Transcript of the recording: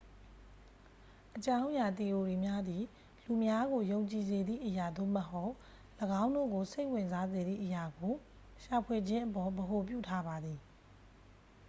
အကြောင်းအရာ သီအိုရီများသည် လူများကို ယုံကြည်စေသည့်အရာ သို့မဟုတ် ၎င်းတို့ကို စိတ်ဝင်စားစေသည့် အရာကို ရှာဖွေခြင်းအပေါ် ဗဟိုပြုထားပါသည်